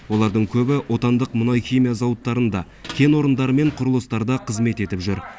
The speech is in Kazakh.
олардың көбі отандық мұнай химия зауыттарында кен орындары мен құрылыстарда қызмет етіп жүр